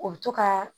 O bɛ to ka